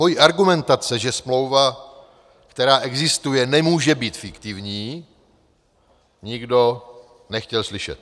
Moje argumentace, že smlouva, která existuje, nemůže být fiktivní, nikdo nechtěl slyšet.